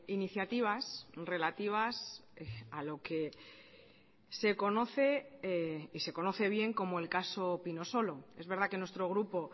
iniciativas relativas a lo que se conoce y se conoce bien como el caso pinosolo es verdad que nuestro grupo